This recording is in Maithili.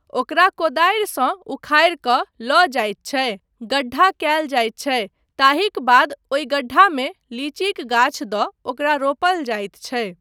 ओकरा कोदारिसंँ उखारि कऽ लऽ जाइत छै गड्ढा कयल जाइत छै ताहिक बाद ओहि गड्ढामे लीचीक गाछ दऽ ओकरा रोपल जाइत छै।